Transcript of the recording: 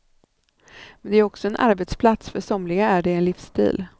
Men det är också en arbetsplats, för somliga är det en livsstil.